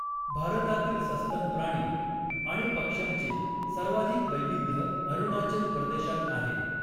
भारतातील सस्तन प्राणी आणि पक्ष्यांचे सर्वाधिक वैविध्य अरुणाचल प्रदेशात आहे.